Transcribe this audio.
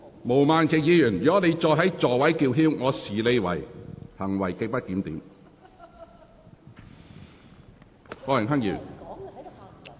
毛孟靜議員，如果你繼續在座位上叫喊，我會視之為行為極不檢點。